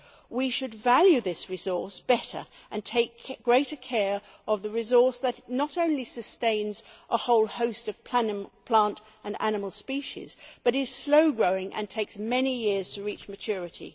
We should value this resource better and take greater care of the resource that not only sustains a whole host of plant and animal species but is slow growing and takes many years to reach maturity.